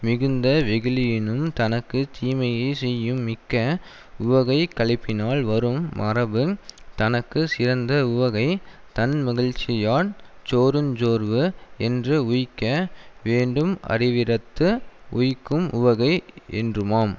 மிகுந்த வெகுளியினும் தனக்கு தீமையை செய்யும் மிக்க உவகைக்களிப்பினால் வரும் மறப்பு தனக்கு சிறந்த உவகை தன்மகிழ்ச்சியான் சோருஞ் சோர்வு என்று உய்க்க வேண்டும் அரிவிடத்து உய்க்கும் உவகை என்றுமாம்